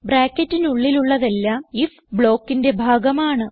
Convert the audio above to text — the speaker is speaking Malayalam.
ബ്രാക്കറ്റിനുള്ളിലുള്ളതെല്ലാം ഐഎഫ് blockന്റെ ഭാഗമാണ്